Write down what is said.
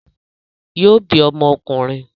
Yóò bí ọmọ ọkùnrin